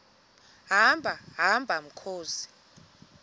hamba hamba mkhozi